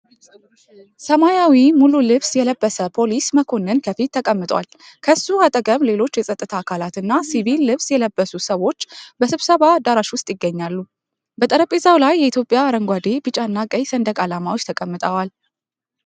ሰማያዊ ሙሉ ልብስ የለበሰ ፖሊስ መኮንን ከፊት ተቀምጧል። ከሱ አጠገብ ሌሎች የፀጥታ አካላትና ሲቪል ልብስ የለበሱ ሰዎች በስብሰባ አዳራሽ ውስጥ ይገኛሉ። በጠረጴዛው ላይ የኢትዮጵያ አረንጓዴ፣ ቢጫና ቀይ ሰንደቅ ዓላማዎች ተቀምጠዋል።